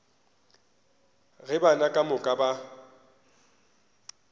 ge bana ka moka ba